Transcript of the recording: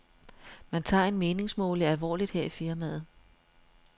Man tager en meningsmåling alvorligt her i firmaet.